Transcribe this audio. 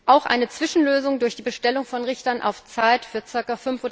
Auch eine Zwischenlösung durch die Bestellung von Richtern auf Zeit für ca.